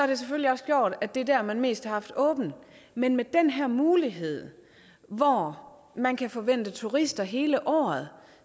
det selvfølgelig også gjort at det er der man mest har haft åbent men med den her mulighed hvor man kan forvente turister hele året